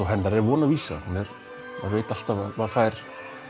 hennar von og vísa maður veit alltaf að maður fær